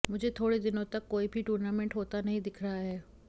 मुझे थोड़े दिनों तक कोई भी टूर्नामेंट होता नहीं दिख रहा है